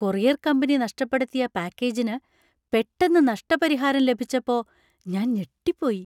Courier company നഷ്‌ടപ്പെടുത്തിയ പാക്കേജിന് പെട്ടെന്ന് നഷ്ടപരിഹാരം ലഭിച്ചപ്പോ ഞാൻ ഞെട്ടിപ്പോയി .